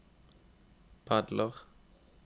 padler